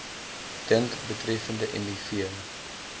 dink betreffende miv